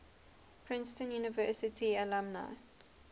princeton university alumni